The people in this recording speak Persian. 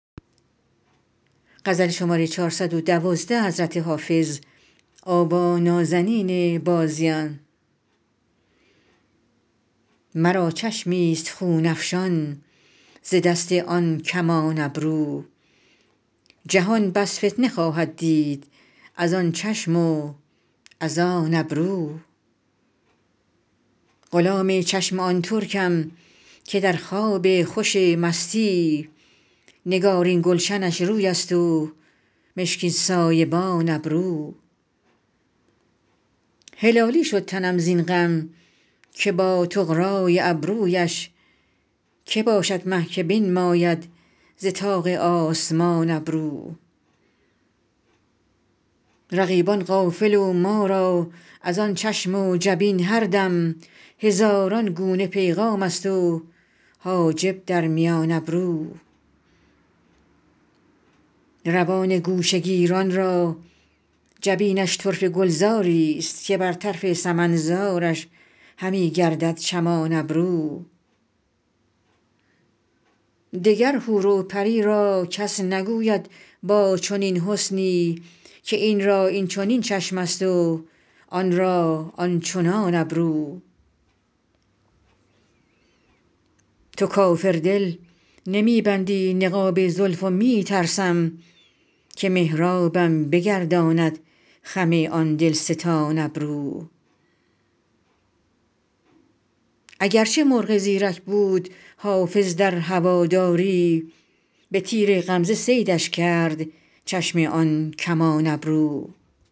مرا چشمی ست خون افشان ز دست آن کمان ابرو جهان بس فتنه خواهد دید از آن چشم و از آن ابرو غلام چشم آن ترکم که در خواب خوش مستی نگارین گلشنش روی است و مشکین سایبان ابرو هلالی شد تنم زین غم که با طغرا ی ابرو یش که باشد مه که بنماید ز طاق آسمان ابرو رقیبان غافل و ما را از آن چشم و جبین هر دم هزاران گونه پیغام است و حاجب در میان ابرو روان گوشه گیران را جبینش طرفه گلزار ی ست که بر طرف سمن زارش همی گردد چمان ابرو دگر حور و پری را کس نگوید با چنین حسنی که این را این چنین چشم است و آن را آن چنان ابرو تو کافر دل نمی بندی نقاب زلف و می ترسم که محرابم بگرداند خم آن دل ستان ابرو اگر چه مرغ زیرک بود حافظ در هوادار ی به تیر غمزه صیدش کرد چشم آن کمان ابرو